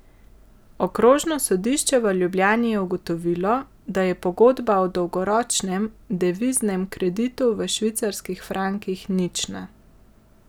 Okrožno sodišče v Ljubljani je ugotovilo, da je pogodba o dolgoročnem deviznem kreditu v švicarskih frankih nična.